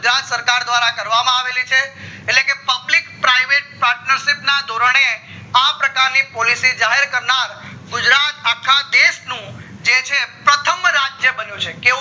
ગુજરાત સરકાર દ્વારા કરવામાં આવી છે એટલે કે public private partnership ના ઢોરને આ પ્રકાર ની policy જાહેર કરનાર ગુજરાત અખા દેશ નું જે છે રથમ રાજ્ય બન્યો છે કેવો